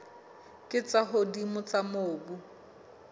tse ka hodimo tsa mobu